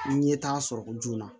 N ɲɛ t'a sɔrɔ ko joona